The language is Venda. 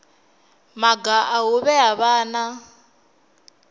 maga a u vhea vhana